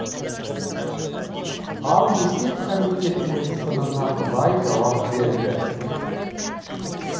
ал есеп комитетінің сынына былай жауап берді